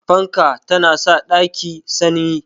Fanka ta na sa ɗaki sanyi